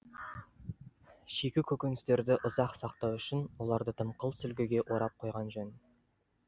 шикі көкіністерді ұзақ сақтау үшін оларды дымқыл сүлгіге орап қойған жөн